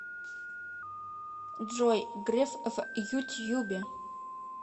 джой греф в ютьюбе